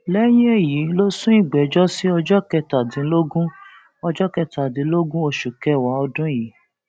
lẹyìn èyí ló sún ìgbẹjọ sí ọjọ kẹtàdínlógún ọjọ kẹtàdínlógún oṣù kẹwàá ọdún yìí